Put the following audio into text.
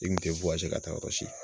I kun tɛ ka taa yɔrɔ si.